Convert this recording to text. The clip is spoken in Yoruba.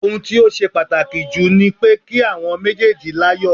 Ohun tó ṣe pàtàkì jù ni pé kí àwọn méjèèjì láyọ̀